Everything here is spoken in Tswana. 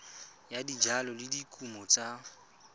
ya dijalo le dikumo tsa